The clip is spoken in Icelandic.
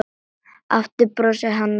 Aftur brosir hann og segir